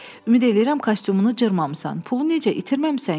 Ümid edirəm kostyumunu cırmamısan, pulu necə itirməmisən ki?